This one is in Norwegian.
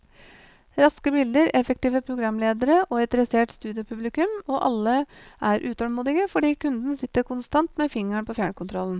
Raske bilder, effektive programledere og et dressert studiopublikum, og alle er utålmodige fordi kunden sitter konstant med fingeren på fjernkontrollen.